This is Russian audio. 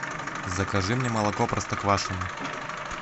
закажи мне молоко простоквашино